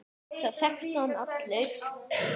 Það þekktu hann allir.